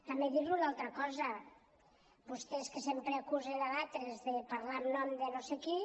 també dir li una altra cosa vostès que sempre acusen d’altres de parlar en nom de no sé qui